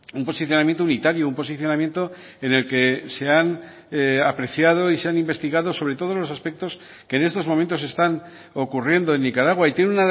un posicionamiento unitario un posicionamiento en el que se han apreciado y se han investigado sobre todo los aspectos que en estos momentos están ocurriendo en nicaragua y tiene